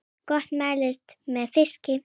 Gott meðlæti með fiski.